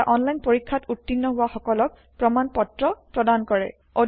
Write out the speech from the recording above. এটা অনলাইন পৰীক্ষাত উত্তীৰ্ণ হোৱা সকলক প্ৰমাণ পত্ৰ প্ৰদান কৰে